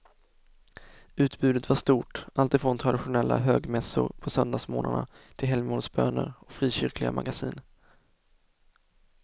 Utbudet var stort, alltifrån traditionella högmässor på söndagsmorgnarna till helgmålsböner och frikyrkliga magasin.